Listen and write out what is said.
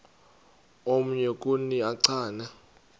omnye kuni uchane